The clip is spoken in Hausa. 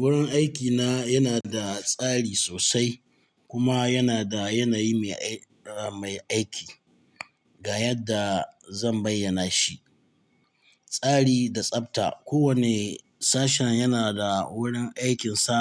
Wurin aikina yana da tsari sosai kuma yana da yanayi mai aiki, ga yadda zan bayyana shi. Tsari da tsafta. Kowane sashen yana da wurin aikinsa